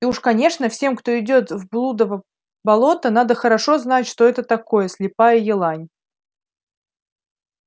и уж конечно всем кто идёт в блудово болото надо хорошо знать что это такое слепая елань